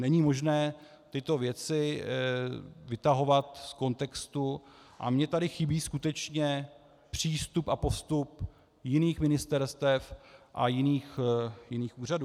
Není možné tyto věci vytahovat z kontextu a mně tady chybí skutečně přístup a postup jiných ministerstev a jiných úřadů.